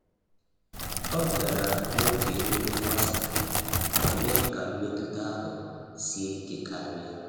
Ọ bịara n’oge emume mgbasa, ma mee ka mmetụta ahụ sie ike karịa.